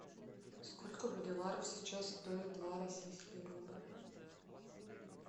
сколько боливаров сейчас стоит два российский рубль